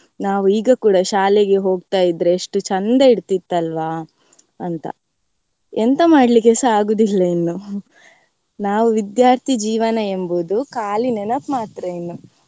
ನಾವ್ ಈಗ ಕೂಡಾ ಶಾಲೆಗೆ ಹೋಗ್ತಾ ಇದ್ರೆ ಎಷ್ಟು ಚಂದ ಇರ್ತಿತಲ್ವಾ ಅಂತ ಎಂತ ಮಾಡ್ಲಿಕೆಸ ಆಗುವುದಿಲ್ಲ ಇನ್ನು ನಾವ್ ವಿದ್ಯಾರ್ಥಿ ಜೀವನ ಎಂಬುದು ಖಾಲಿ ನೆನಪ್ ಮಾತ್ರ ಇನ್ನು.